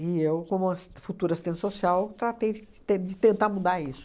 E eu, como assis futura assistente social, tratei de te de tentar mudar isso.